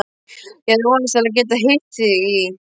Ég hafði vonast til að geta hitt þig í